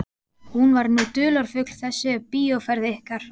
Hún var nú dularfull þessi bíóferð ykkar.